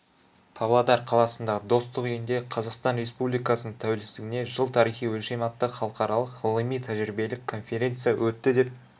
павлодар қаласындағы достық үйінде қазақстан республикасының тәуелсіздігіне жыл тарихи өлшем атты халықаралық ғылыми-тәжірибелік конференция өтті деп